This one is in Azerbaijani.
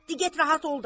Di get rahat ol da!